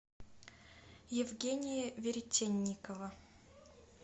евгения веретенникова